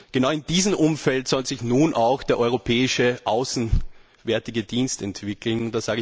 Genau in diesem Umfeld soll sich nun auch der Europäische Auswärtige Dienst entwickeln.